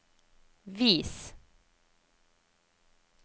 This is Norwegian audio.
vis